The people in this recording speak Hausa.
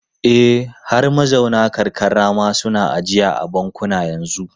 E, har mazauna karkara ma suna ajiya a bankuna yanzu.